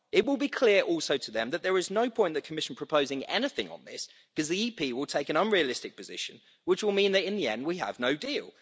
It will also be clear to them that there was no point the Commission proposing anything on this, because the EP will take an unrealistic position, which will mean that, in the end, we have no deal.